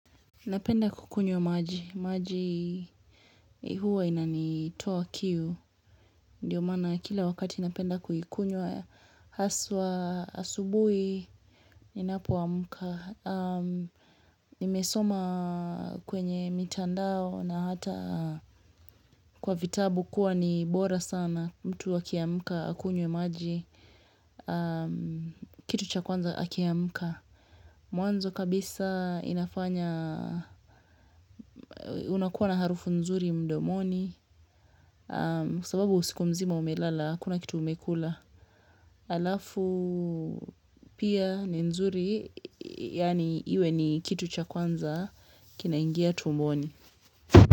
Napenda kukunywa maji, maji hua inanitoa kiu, ndiyo maana kila wakati napenda kuikunywa haswa asubuhi, ninapoamka. Nimesoma kwenye mitandao na hata kwa vitabu kuwa ni bora sana mtu akiamka, akunywe maji, kitu cha kwanza akiamka. Mwanzo kabisa inafanya unakuwa na harufu nzuri mdomoni Kwasababu usiku mzima umelala hakuna kitu umekula halafu pia ni nzuri yani iwe ni kitu cha kwanza kinaingia tumboni.